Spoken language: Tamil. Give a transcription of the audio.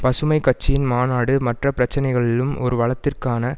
பசுமை கட்சியின் மாநாடு மற்ற பிரச்சினைகளிலும் ஒரு வலதிற்கான